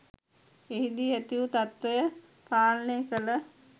එහිදී ඇති වු තත්ත්වය පාලනය කළ